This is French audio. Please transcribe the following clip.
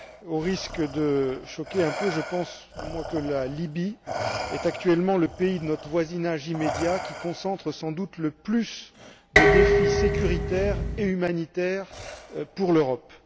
Au risque de choquer un peu, je pense que la Libye est actuellement le pays de notre voisinage immédiat qui concentre sans doute le plus de défis sécuritaires et humanitaires pour l'Europe.